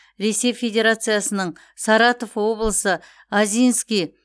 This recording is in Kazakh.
ресей федерациясының саратов облысы озинский